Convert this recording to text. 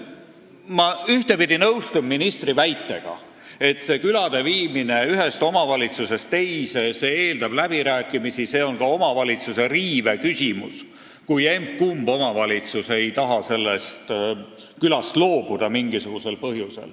Ma ühtpidi nõustun ministri väitega, et külade viimine ühest omavalitsusest teise eeldab läbirääkimisi ja see on ka omavalitsuse õiguste riive küsimus, kui emb-kumb omavalitsus ei taha mingisugusel põhjusel konkreetsest külast loobuda.